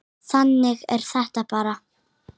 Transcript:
Þannig er þetta bara.